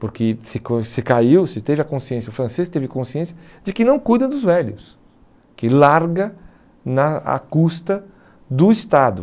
Porque se se caiu, se teve a consciência, o francês teve consciência de que não cuida dos velhos, que larga na a custa do Estado.